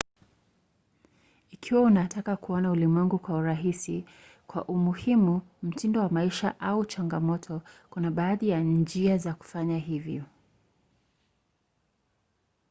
ikiwa unataka kuuona ulimwengu kwa urahisi kwa umuhimu mtindo wa maisha au chamgamoto kuna baadhi ya njia za kufanya hivyo